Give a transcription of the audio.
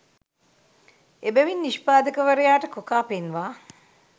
එබැවින් නිෂ්පාදකවරයාට කොකා පෙන්වා